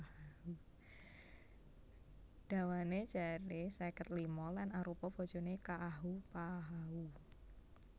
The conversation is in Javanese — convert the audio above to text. Dawané jaré seket lima lan arupa bojoné Ka ahupahau